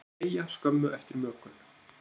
þeir deyja skömmu eftir mökun